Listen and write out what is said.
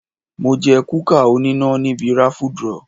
Mo jẹ kúkà oníná níbi raffle draw.